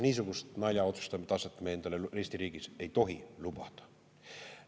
Niisugust naljaotsustamise taset me endale Eesti riigis ei tohi lubada.